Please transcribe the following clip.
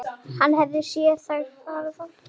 Hann hafði séð þau fæðast.